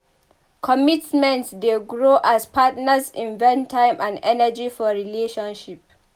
Commitment dey grow as partners invest time and energy for relationship.